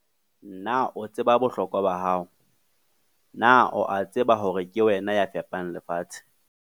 Na o tseba bohlokwa ba hao? Na o a tseba hore ke wena ya fepang lefatshe?